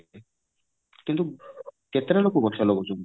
କିନ୍ତୁ କେତେଟା ଲୋକ ଗଛ ଲଗଉଛନ୍ତି